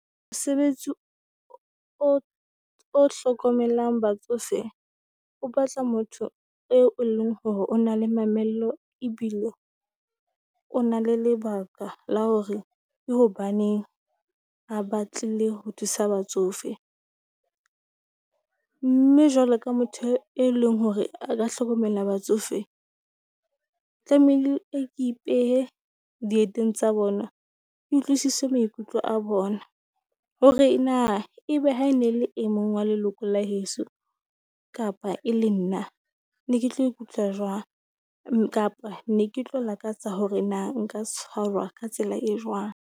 Mosebetsi o o hlokomelang batsofe, o batla motho eo e leng hore o na le mamello ebile o na le lebaka la hore ke hobaneng a batlile ho thusa batsofe. Mme jwalo ka motho e leng hore a ka hlokomela batsofe tlamehile a ipehe dieteng tsa bona, ke utlwisise maikutlo a bona. Hore na ebe ha e ne le e mong wa leloko la heso, kapa e le nna ne ke tlo ikutlwa jwang? Kapa ne ke tlo lakatsa hore na nka tshwarwa ka tsela e jwang?